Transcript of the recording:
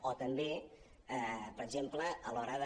o també per exemple a l’hora de